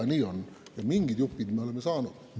Mingite juppide jaoks me oleme saanud.